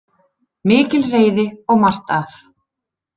Mikil reiði og margt að